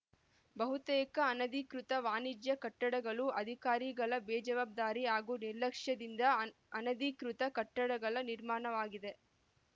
ಬಹುತೇಕ ಅನಧಿಕೃತ ವಾಣಿಜ್ಯ ಕಟ್ಟಡಗಳು ಅಧಿಕಾರಿಗಳ ಬೇಜವಾಬ್ದಾರಿ ಹಾಗೂ ನಿರ್ಲಕ್ಷ್ಯದಿಂದ ಅನ್ ಅನಧಿಕೃತ ಕಟ್ಟಡಗಳ ನಿರ್ಮಾಣವಾಗಿದೆ